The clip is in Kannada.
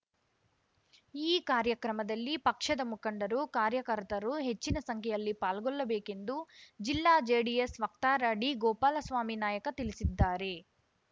ಈ ಕಾರ್ಯಕ್ರಮದಲ್ಲಿ ಪಕ್ಷದ ಮುಖಂಡರುಕಾರ್ಯಕರ್ತರು ಹೆಚ್ಚಿನ ಸಂಖ್ಯೆಯಲ್ಲಿ ಪಾಲ್ಗೊಳ್ಳಬೇಕೆಂದು ಜಿಲ್ಲಾ ಜೆಡಿಎಸ್‌ ವಕ್ತಾರ ಡಿಗೋಪಾಲಸ್ವಾಮಿ ನಾಯಕ ತಿಳಿಸಿದ್ದಾರೆ